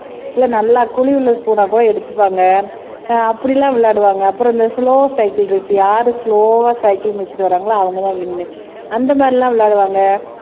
நல்லா குழி உள்ள ஸ்பூன் ஆஹ் கூட எடுத்துப்பாங்க அப்படி எல்லாம் விளையாடுவாங்க அப்புறம் இந்த ஸ்லொவ் சைக்கிள் ரேஸ் யாரு ஸ்லொவ்வ சைக்கிள் மெதிச்சுட்டு வராங்களோ அவங்கதான் வின்னு அந்த மாதிரிலாம் விளையாடுவாங்க